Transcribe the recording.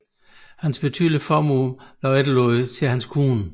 Hans betydelige formue blev efterladt til hans kone